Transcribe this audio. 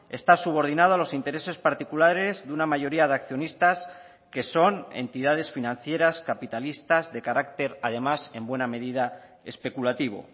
está subordinado a los intereses particulares de una mayoría de accionistas que son entidades financieras capitalistas de carácter además en buena medida especulativo